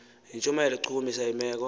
yintshumayelo echukumisa imeko